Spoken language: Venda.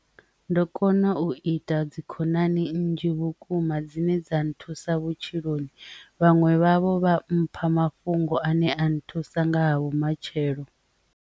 Ndo kona u ita dzikhonani nnzhi vhukuma dzine dza nthusa vhutshiloni vhaṅwe vhavho vha mpha mafhungo ane a nthusa nga ha vhumatshelo.